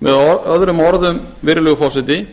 með öðrum orðum virðulegi forseti